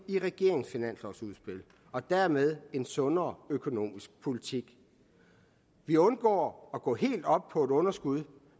i regeringens finanslovsudspil og dermed en sundere økonomisk politik vi undgår at gå helt op på et underskud